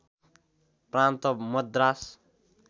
प्रान्त मद्रास